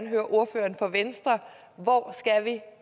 høre ordføreren for venstre hvor skal vi